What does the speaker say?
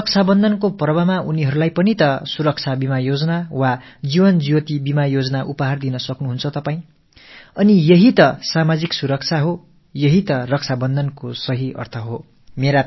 இந்த ரக்ஷாபந்தன் பண்டிகையின் போது அவர்களுக்கும் பிரதம மந்திரி ஆயுள் பாதுகாப்புத் திட்டம் அல்லது ஜீவன் ஜோதி ஆயுள் காப்பீட்டுத் திட்டத்தை பரிசாக அளிக்கலாம் இல்லையா இது தானே சமூகப் பாதுகாப்பு இது தானே ரக்ஷாபந்தனுக்கான சரியான அர்த்தம்